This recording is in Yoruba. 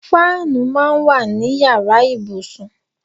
Fáànù máa ń wà ní yàrá ìbùsùn.